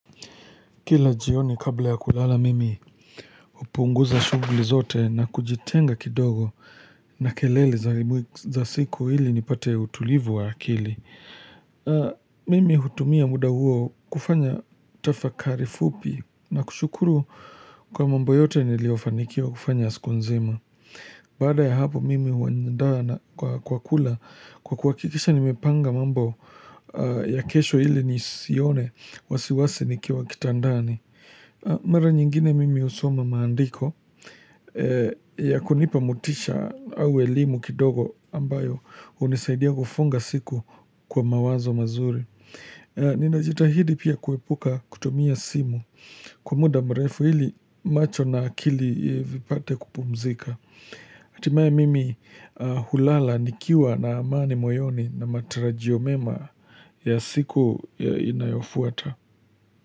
Kila jioni kabla ya kulala mimi hupunguza shughuli zote na kujitenga kidogo na kelele za siku ili nipate utulivu wa akili. Mimi hutumia muda huo kufanya tafakari fupi na kushukuru kwa mambo yote niliyofanikiwa kufanya siku nzima. Baada ya hapo mimi huandaa na kwa kula kwa kuhakikisha nimepanga mambo ya kesho ili nisione wasiwasi nikiwa kitandani. Mara nyingine mimi usoma maandiko ya kunipa motisha au elimu kidogo ambayo hunisaidia kufunga siku kwa mawazo mazuri. Ninajitahidi pia kuepuka kutumia simu kwa muda mrefu ili macho na akili vipate kupumzika. Hatimaya mimi hulala nikiwa na amani moyoni na matarajio mema ya siku inayofuata.